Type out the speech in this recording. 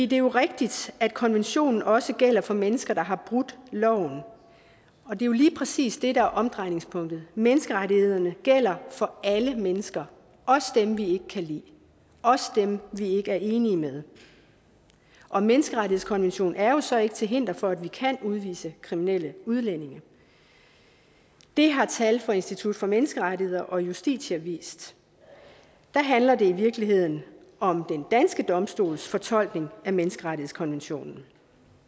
det er rigtigt at konventionen også gælder for mennesker der har brudt loven og det er jo lige præcis det der er omdrejningspunktet menneskerettighederne gælder for alle mennesker også dem vi ikke kan lide også dem vi ikke er enige med og menneskerettighedskonventionen er jo så ikke til hinder for at vi kan udvise kriminelle udlændinge det har tal fra institut for menneskerettigheder og justitia vist der handler det i virkeligheden om den danske domstols fortolkning af menneskerettighedskonventionen